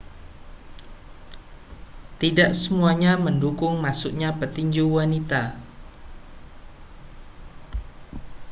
tidak semuanya mendukung masuknya petinju wanita